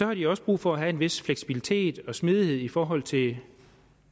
har de også brug for at have en vis fleksibilitet og smidighed i forhold til